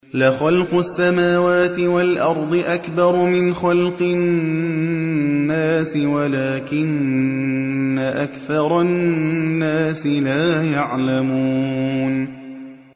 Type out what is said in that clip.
لَخَلْقُ السَّمَاوَاتِ وَالْأَرْضِ أَكْبَرُ مِنْ خَلْقِ النَّاسِ وَلَٰكِنَّ أَكْثَرَ النَّاسِ لَا يَعْلَمُونَ